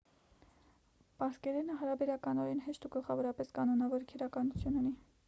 պարսկերենը հարաբերականորեն հեշտ ու գլխավորապես կանոնավոր քերականություն ունի